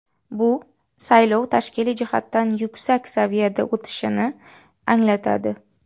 Bu saylov tashkiliy jihatdan yuksak saviyada o‘tishini anglatadi.